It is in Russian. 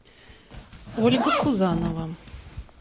ольга пузанова